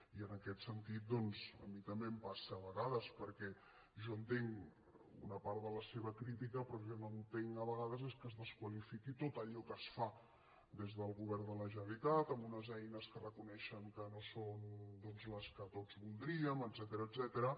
i en aquest sentit doncs a mi també em passa a vegades perquè jo entenc una part de la seva crítica però el que no entenc a vegades és que es desqualifiqui tot allò que es fa des del govern de la generalitat amb unes eines que reconeixen que no són les que tots voldríem etcètera